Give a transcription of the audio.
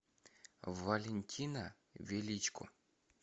валентина величко